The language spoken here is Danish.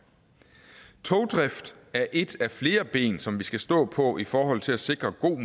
togdrift er et af flere ben som vi skal stå på i forhold til at sikre god